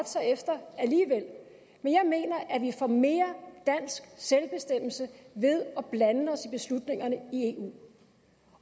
sig efter men jeg mener at vi får mere dansk selvbestemmelse ved at blande os i beslutningerne i eu